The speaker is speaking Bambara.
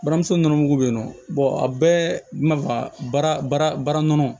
Buramuso nɔnɔmugu bɛ yen nɔ a bɛɛ mana faga baara nɔnɔ